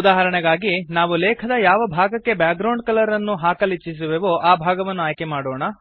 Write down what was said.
ಉದಾಹರಣೆಗಾಗಿ ನಾವು ಲೇಖದ ಯಾವ ಭಾಗಕ್ಕೆ ಬ್ಯಾಕ್ ಗ್ರೌಂಡ್ ಕಲರ್ ಅನ್ನು ಹಾಕಲಿಚ್ಛಿಸುವೆವೋ ಆ ಭಾಗವನ್ನು ಆಯ್ಕೆ ಮಾಡೋಣ